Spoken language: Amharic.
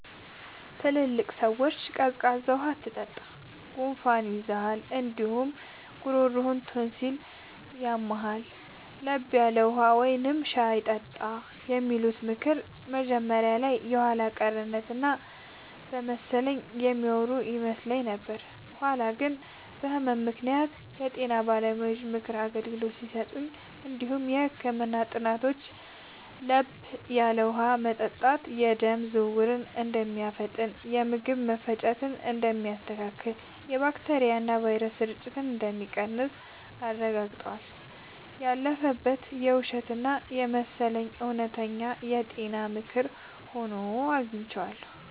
ትላልቅ ሰዎች “ቀዝቃዛ ውሃ አትጠጣ፣ ጉንፋን ይይዝሃል እንዲሁም ጉሮሮህን ቶንሲል ስለሚያምህ፤ ለብ ያለ ውሃ ወይም ሻይ ጠጣ” የሚሉት ምክር መጀመሪያ ላይ የኋላ ቀርነት እና በመሰለኝ የሚያወሩ ይመስል ነበር። በኋላ ግን በህመም ምክንያት የጤና ባለሙያዎች የምክር አገልግሎት ሲሰጡ እንዲሁም የህክምና ጥናቶች ለብ ያለ ውሃ መጠጣት የደም ዝውውርን እንደሚያፋጥን፣ የምግብ መፈጨትን እንደሚያስተካክልና የባክቴሪያና ቫይረስ ስርጭትን እንደሚቀንስ አረጋግጠዋል። ያለፈበት እና ውሸት የመሰለው እውነተኛ የጤና ምክር ሆኖ አግኝቼዋለሁ።